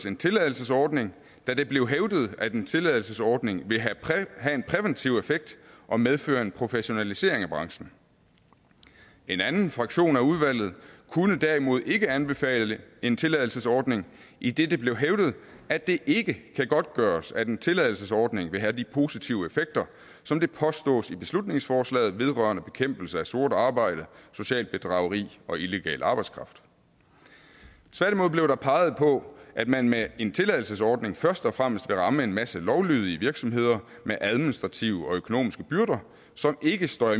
en tilladelsesordning da det blev hævdet at en tilladelsesordning vil have en præventiv effekt og medføre en professionalisering af branchen en anden fraktion af udvalget kunne derimod ikke anbefale en tilladelsesordning idet det blev hævdet at det ikke kan godtgøres at en tilladelsesordning vil have de positive effekter som det påstås i beslutningsforslaget vedrørende bekæmpelse af sort arbejde socialt bedrageri og illegal arbejdskraft tværtimod blev der peget på at man med en tilladelsesordning først og fremmest vil ramme en masse lovlydige virksomheder med administrative og økonomiske byrder som ikke står